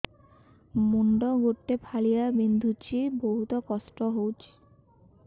ମୁଣ୍ଡ ଗୋଟେ ଫାଳିଆ ବିନ୍ଧୁଚି ବହୁତ କଷ୍ଟ ହଉଚି